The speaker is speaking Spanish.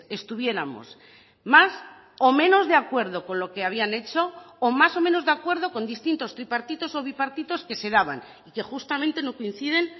estuviéramos más o menos de acuerdo con lo que habían hecho o más o menos de acuerdo con distintos tripartitos o bipartitos que se daban y que justamente no coinciden